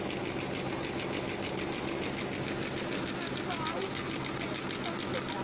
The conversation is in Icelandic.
Stofnendur hafa frjálsar hendur um það hvaða áskriftir þeir samþykkja.